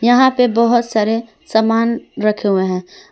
यहां पे बहुत सारे सामान रखे हुवे हैं।